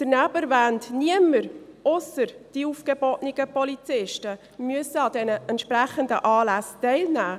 Daneben sei erwähnt: Niemand, ausser den aufgebotenen Polizisten, muss an den entsprechenden Anlässen teilnehmen.